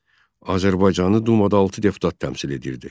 Azərbaycanı dumada altı deputat təmsil edirdi.